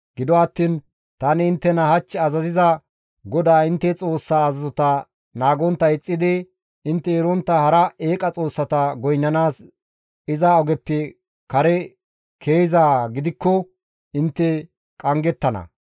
Gido attiin tani inttena hach azaziza GODAA intte Xoossa azazota naagontta ixxidi intte erontta hara eeqa xoossata goynnanaas iza ogeppe kare ke7izaa gidikko intte qanggettana.